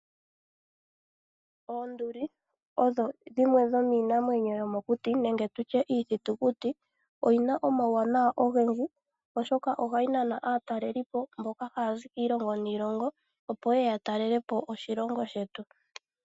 Oonduli odho dhimwe dhomiinamwenyo, yomokuti nenge tu tye iithitukuti; oyina omauwanawa ogendji oshoka oha yi Nana aatalelipo, mboka ha ya zi kiilongo niilongo opo ye ue ya talelepo oshilongo shetu.